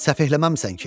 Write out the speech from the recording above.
Səfehləməmisən ki?